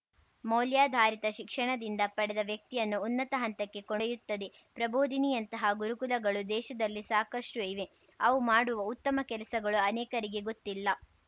ಮೌಲ್ಯಾಧಾರಿತ ಶಿಕ್ಷಣದಿಂದ ಪಡೆದ ವ್ಯಕ್ತಿಯನ್ನು ಉನ್ನತ ಹಂತಕ್ಕೆ ಕೊಡೊಯ್ಯುತ್ತದೆ ಪ್ರಬೋದಿನಿಯಂತಹ ಗುರುಕುಲಗಳು ದೇಶದಲ್ಲಿ ಸಾಕಷ್ಟುಇವೆ ಅವು ಮಾಡುವ ಉತ್ತಮ ಕೆಲಸಗಳು ಅನೇಕರಿಗೆ ಗೊತ್ತಿಲ್ಲ